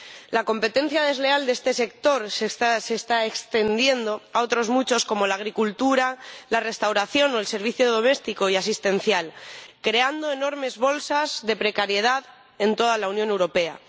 La competencia desleal de este sector se está se está extendiendo a otros muchos, como la agricultura, la restauración o el servicio doméstico y asistencial, lo que crea enormes bolsas de precariedad en toda la Unión Europea.